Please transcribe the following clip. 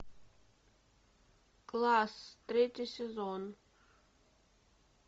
класс третий сезон